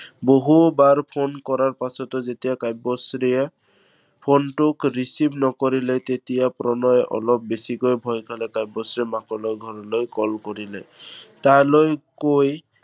বহুবাৰ phone কৰাৰ পাছতো যেতিয়া কাব্যশ্ৰীয়ে phone টোক receive নকৰিলে তেতিয়া প্ৰণয়ে অলপ বেছিকৈ ভয় খালে। কাব্যশ্ৰীয়ে মাকলৈ ঘৰলৈ call কৰিলে। তালৈ কৈ